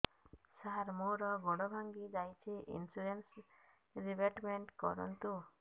ସାର ମୋର ଗୋଡ ଭାଙ୍ଗି ଯାଇଛି ଇନ୍ସୁରେନ୍ସ ରିବେଟମେଣ୍ଟ କରୁନ୍ତୁ